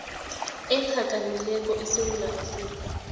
ephakamileko esewula afrika